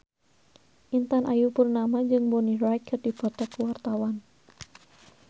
Intan Ayu Purnama jeung Bonnie Wright keur dipoto ku wartawan